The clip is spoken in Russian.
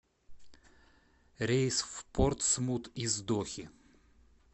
рейс в портсмут из дохи